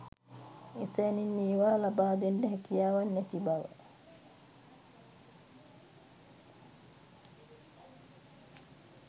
එසැණින් ඒවා ලබාදෙන්ඩ හැකියාවක් නැති බව.